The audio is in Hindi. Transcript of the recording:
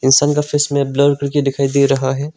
इंसान का फेस ब्लर करके दिखाई दे रहा है।